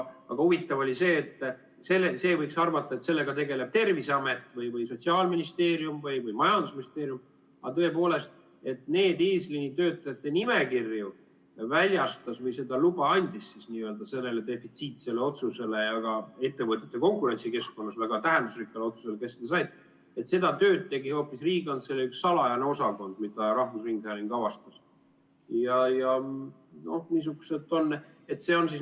Aga huvitav oli see, et võiks arvata, et sellega tegeleb Terviseamet või Sotsiaalministeerium või majandusministeerium, aga neid eesliinitöötajate nimekirju väljastas või luba selle defitsiitse ja ka ettevõtete konkurentsikeskkonnas väga tähendusrikka otsuse jaoks, kes seda said, andis hoopis Riigikantselei üks salajane osakond, nagu rahvusringhääling avastas.